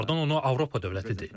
Və onlardan onu Avropa dövlətidir.